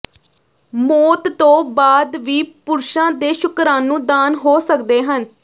ਮੌਤ ਤੋਂ ਬਾਅਦ ਵੀ ਪੁਰਸ਼ਾਂ ਦੇ ਸ਼ੁਕਰਾਣੂ ਦਾਨ ਹੋ ਸਕਦੇ ਹਨ